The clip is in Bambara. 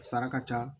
Sara ka ca